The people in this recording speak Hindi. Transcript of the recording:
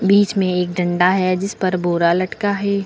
बीच में एक डंडा है जिस पर बोरा लटका है।